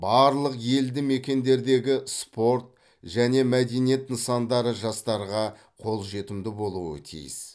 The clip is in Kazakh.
барлық елді мекендердегі спорт және мәдениет нысандары жастарға қолжетімді болуы тиіс